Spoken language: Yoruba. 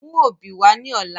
Mú obì wá ní ọ̀la